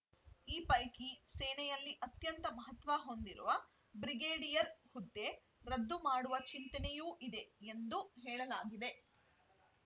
ಈ ಪೈಕಿ ಸೇನೆಯಲ್ಲಿ ಅತ್ಯಂತ ಮಹತ್ವ ಹೊಂದಿರುವ ಬ್ರಿಗೇಡಿಯರ್‌ ಹುದ್ದೆ ರದ್ದು ಮಾಡುವ ಚಿಂತನೆಯೂ ಇದೆ ಎಂದು ಹೇಳಲಾಗಿದೆ